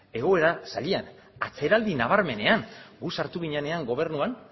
egoera zailean atzeraldi nabarmenean gu sartu ginenean gobernuan